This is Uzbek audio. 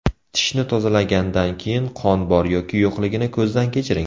Tishni tozalagandan keyin qon bor yoki yo‘qligini ko‘zdan kechiring.